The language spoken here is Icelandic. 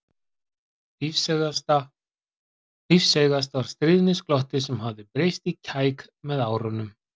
Lífseigast var stríðnisglottið sem hafði breyst í kæk með árunum.